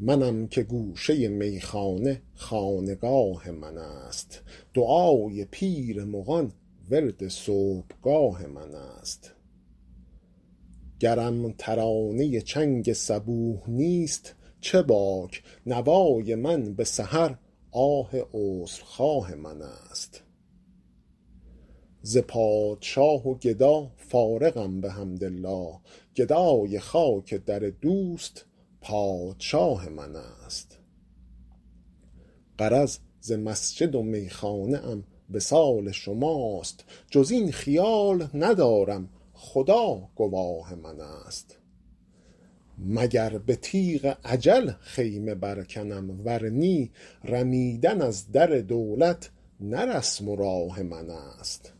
منم که گوشه میخانه خانقاه من است دعای پیر مغان ورد صبحگاه من است گرم ترانه چنگ صبوح نیست چه باک نوای من به سحر آه عذرخواه من است ز پادشاه و گدا فارغم بحمدالله گدای خاک در دوست پادشاه من است غرض ز مسجد و میخانه ام وصال شماست جز این خیال ندارم خدا گواه من است مگر به تیغ اجل خیمه برکنم ور نی رمیدن از در دولت نه رسم و راه من است